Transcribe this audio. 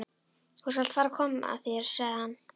Þú skalt fara að koma þér, sagði hann.